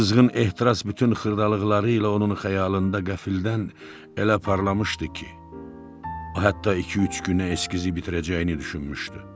Bu qızğın ehtiras bütün xırdalıqları ilə onun xəyalında qəfildən elə parlamışdı ki, o hətta iki-üç günə eskizi bitirəcəyini düşünmüşdü.